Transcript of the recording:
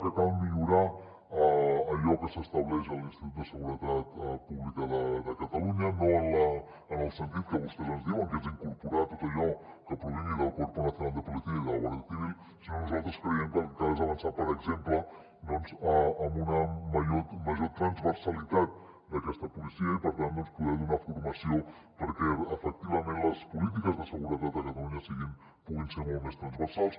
que cal millorar allò que s’estableix en l’institut de seguretat pública de catalunya no en el sentit que vostès ens diuen que és incorporar tot allò que provingui del cuerpo nacional de policia i de la guardia civil sinó que nosaltres creiem que el que cal és avançar per exemple en una major transversalitat d’aquesta policia i per tant poder donar formació perquè efectivament les polítiques de seguretat a catalunya puguin ser molt més transversals